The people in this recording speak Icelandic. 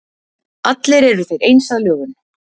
allir eru þeir eins að lögun